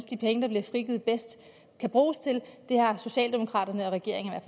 de penge der bliver frigivet skal bruges til det har socialdemokraterne og regeringen